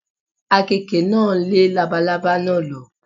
Àkekè náà lé labalábá náà lọ.